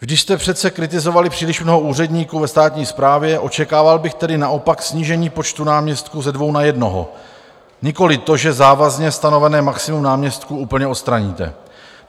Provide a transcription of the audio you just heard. Když jste přece kritizovali příliš mnoho úředníků ve státní správě, očekával bych tedy naopak snížení počtu náměstků ze dvou na jednoho, nikoli to, že závazně stanovené maximum náměstků úplně odstraníte.